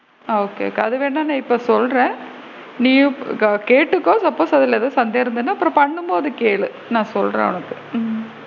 ஆ okay okay அது வேணா இப்போ நான் சொல்றேன் நீயும் கேட்டுக்கோ suppose அதுல உனக்கு சந்தேகம் இருந்ததுன்னா அப்பறம் பண்ணும் போது கேளு நான் சொல்றேன் உனக்கு ம்.